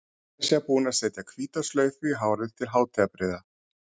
Meira að segja búin að setja hvíta slaufu í hárið til hátíðarbrigða.